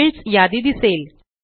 fields यादी दिसेल